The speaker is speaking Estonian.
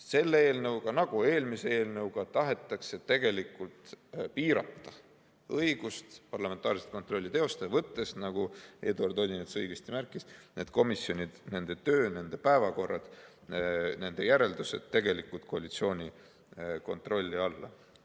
Selle eelnõuga nagu ka eelmise eelnõuga tahetakse tegelikult piirata õigust parlamentaarset kontrolli teostada, võttes, nagu Eduard Odinets õigesti märkis, need komisjonid, nende töö, nende päevakorrad ja nende järeldused tegelikult koalitsiooni kontrolli alla.